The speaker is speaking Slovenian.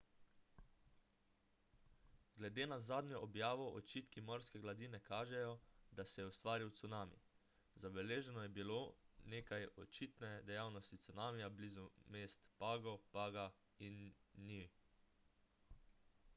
glede na zadnjo objavo odčitki morske gladine kažejo da se je ustvaril cunami zabeleženo je bilo nekaj očitne dejavnosti cunamija blizu mest pago paga in niue